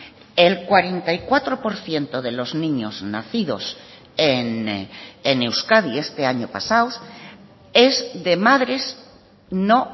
el cuarenta y cuatro por ciento de los niños nacidos en euskadi este año pasado es de madres no